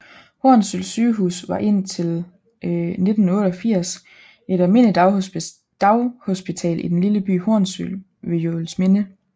Hornsyld Sygehus var et indtil 1988 et almindeligt daghospital i den lille by Hornsyld ved Juelsminde